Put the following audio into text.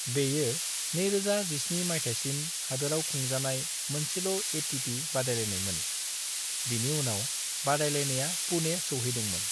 बेयो 2017 माइथायसिम हादोराव खुंजानाय मोनसेल' एटीपी बादायलायनायमोन, बिनि उनाव बादायलायनाया पुणे सौहैदोंमोन।